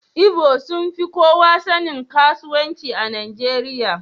Igbo sun fi kowa sanin kasuwanci a Najeriya.